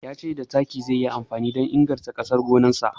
Ya ce da taki zai yi amfani don inganta ƙasar gonarsa.